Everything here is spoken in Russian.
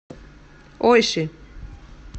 ойши